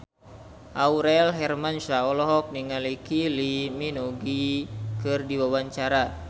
Aurel Hermansyah olohok ningali Kylie Minogue keur diwawancara